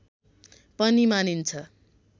पनि मानिन्छ